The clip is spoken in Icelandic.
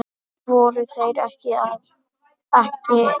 Voru þeir ekki að?